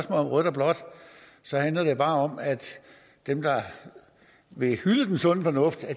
om rødt og blåt så handler det bare om at dem der vil hylde den sunde fornuft